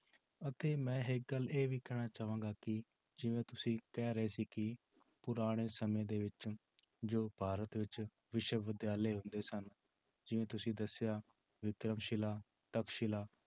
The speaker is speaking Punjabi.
ਅਤੇ ਮੈਂ ਇੱਕ ਗੱਲ ਇਹ ਵੀ ਕਹਿਣਾ ਚਾਹਾਂਗਾ ਕਿ ਜਿਵੇਂ ਤੁਸੀਂ ਕਹਿ ਰਹੇ ਸੀ ਕਿ ਪੁਰਾਣੇ ਸਮੇਂ ਦੇ ਵਿੱਚ ਜੋ ਭਾਰਤ ਵਿੱਚ ਵਿਸ਼ਵ ਵਿਦਿਆਲਯ ਹੁੰਦੇ ਸਨ ਜਿਵੇਂ ਤੁਸੀਂ ਦੱਸਿਆ ਵਿਦਿਅਕ ਸ਼ਿਲਾ ਤਖ਼ਤ ਸ਼ਿਲਾ